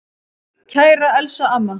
Kæra Elsa amma.